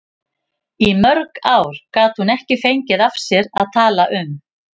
Í mörg ár gat hún ekki fengið af sér að tala um